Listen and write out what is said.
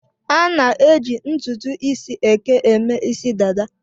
A na-eji ntutu isi eke eme isi dada